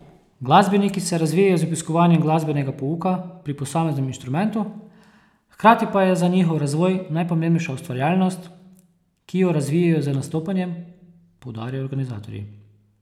Glasbeniki se razvijajo z obiskovanjem glasbenega pouka pri posameznem inštrumentu, hkrati pa je za njihov razvoj najpomembnejša ustvarjalnost, ki jo razvijajo z nastopanjem, poudarjajo organizatorji.